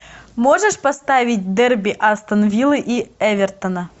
можешь поставить дерби астона вилла и эвертона